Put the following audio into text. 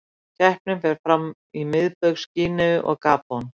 Keppnin fer fram í Miðbaugs Gíneu og Gabon.